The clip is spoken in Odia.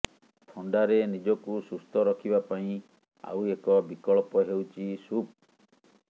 ଥଣ୍ଡାରେ ନିଜକୁ ସୁସ୍ଥ ରଖିବା ପାଇଁ ଆଉ ଏକ ବିକଳ୍ପ ହେଉଛି ସୁପ